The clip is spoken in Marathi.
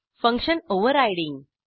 function overriding